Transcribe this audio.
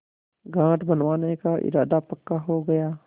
घाट बनवाने का इरादा पक्का हो गया